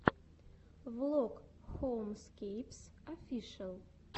влог хоумскейпс офишиал